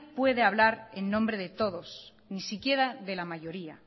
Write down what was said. puede hablar en nombre de todos ni siquiera de la mayoría